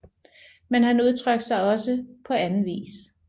Men han udtrykte sig også på anden vis